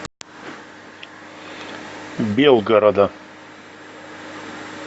белгорода